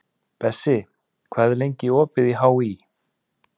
Bessi, hvað er lengi opið í HÍ?